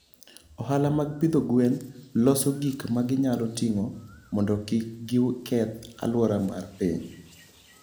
Ohala mag pidho gwen loso gik ma ginyalo ting'o mondo kik giketh alwora mar piny.